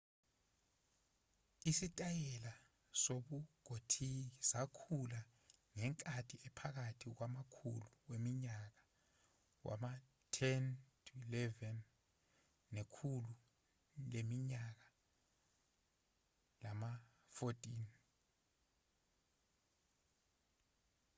isitayela sobugothiki sakhula ngenkathi ephakathi kwamakhulu weminyaka wama-10 -11 nekhulu leminyaka lama-14